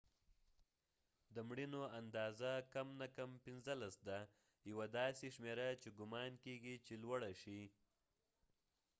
د مړینو اندازه کم نه کم 15 ده یوه داسې شمیره چې ګمان کېږی چې لوړه شي